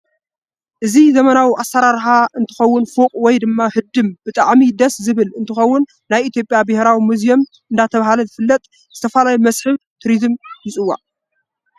እዚ ዘመናዊ አሰራራሓ እንትከውን ፎቅ ወይ ድማ ህዱም ብጣዓም ደስ ዝብል እንትከውን ናይ የኢትዮጵያ ብሄራዊ ምዚየም እዳተባሃለ ዝተፈላለዩ መሰሕ ቴርዝም ይፂዋዕ።